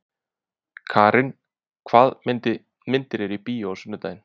Karin, hvaða myndir eru í bíó á sunnudaginn?